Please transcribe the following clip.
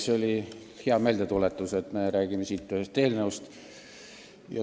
See oli hea meeldetuletus, et me räägime siin ühest eelnõust.